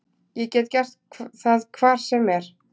Ég get gert það hvar sem er.